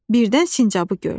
Birdən sincabı gördü.